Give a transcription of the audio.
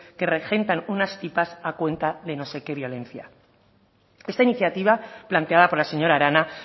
que regentan unas tipas a cuenta de no sé qué violencia esta iniciativa planteada por la señora arana